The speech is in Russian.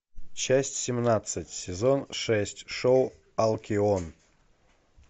часть семнадцать сезон шесть шоу алкион